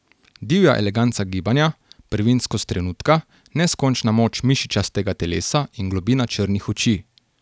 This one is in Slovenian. Divja eleganca gibanja, prvinskost trenutka, neskončna moč mišičastega telesa in globina črnih oči.